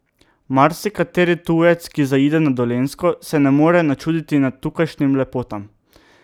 Marsikateri tujec, ki zaide na Dolenjsko, se ne more načuditi tukajšnjim lepotam.